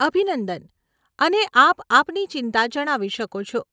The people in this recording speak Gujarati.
અભિનંદન અને આપ આપની ચિંતા જણાવી શકો છો.